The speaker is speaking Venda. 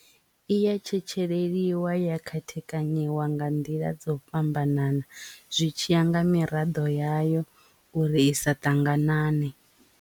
I ya tshetsheleliwa ya khethekanyiwa nga nḓila dzo fhambananaho zwi tshiya nga miraḓo yayo uri i sa ṱanganane.